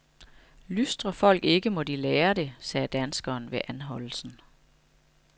Lystrer folk ikke, må de lære det, sagde danskeren ved anholdelsen.